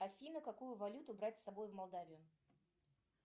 афина какую валюту брать с собой в молдавию